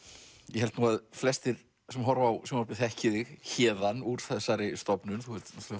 ég held nú að flestir sem horfa á sjónvarpið þekki þig héðan úr þessari stofnun þú ert